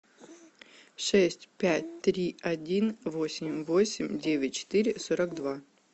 шесть пять три один восемь восемь девять четыре сорок два